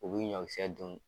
U bi ɲɔkisɛ dun.